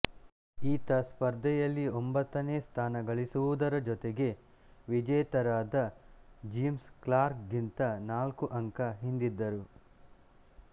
ಈತ ಸ್ಪರ್ಧೆಯಲ್ಲಿ ಒಂಬತ್ತನೇ ಸ್ಥಾನ ಗಳಿಸುವುದರ ಜೊತೆಗೆ ವಿಜೇತರಾದ ಜಿಮ್ ಕ್ಲಾರ್ಕ್ ಗಿಂತ ನಾಲ್ಕು ಅಂಕ ಹಿಂದಿದ್ದರು